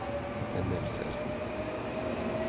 hendelser